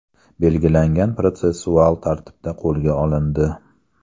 belgilangan protsessual tartibda qo‘lga olindi.